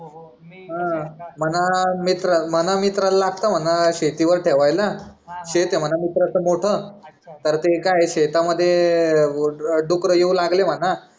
म्हणा मित्रा म्हणा मित्रा ला लागत म्हणा शेती वर ठेवायला शेत आहे म्हणा मित्रा च मोठ तर ते काय आहे शेता मध्ये डुक्कर येऊ लागले म्हणा